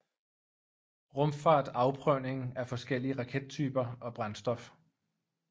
Rumfart Afprøvning af forskellige rakettyper og brændstof